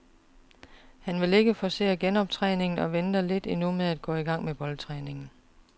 Han vil ikke forcere genoptræningen og venter lidt endnu med at gå i gang med boldtræningen.